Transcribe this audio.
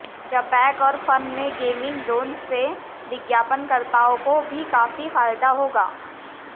जपैक और फन के gaming zones से विज्ञापनकर्ताओं को भी काफी फायदा होगा